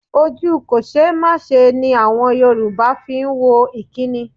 Ojú kòṣeémáṣe ni àwọn Yorùbá fi wo ìkínni.